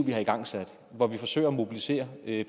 vi har igangsat hvor vi forsøger at mobilisere